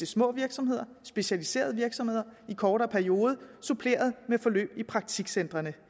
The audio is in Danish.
små virksomheder specialiserede virksomheder i kortere perioder suppleret med forløb i praktikcentrene